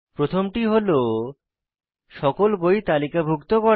প্রথমটি হল সকল বই তালিকাভুক্ত করা